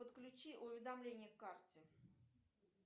подключи уведомления к карте